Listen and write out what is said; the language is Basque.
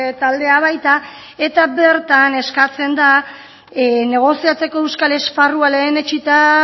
taldea baita eta bertan eskatzen da negoziatzeko euskal esparrua lehenetsita